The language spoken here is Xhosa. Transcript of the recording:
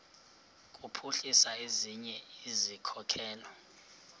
kuphuhlisa ezinye izikhokelo